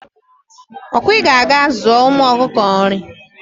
okwa I ka ga aga zuo ụmu ọkụkọ nri